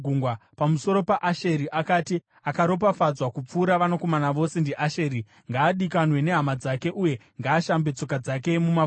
Pamusoro paAsheri akati: “Akaropafadzwa kupfuura vanakomana vose ndiAsheri: ngaadikanwe nehama dzake, uye ngaashambe tsoka dzake mumafuta.